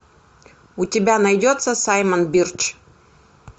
у тебя найдется саймон бирч